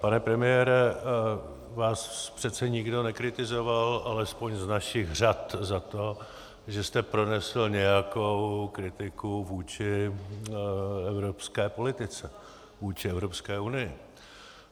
Pane premiére, vás přece nikdo nekritizoval, alespoň z našich řad, za to, že jste pronesl nějakou kritiku vůči evropské politice, vůči Evropské unii.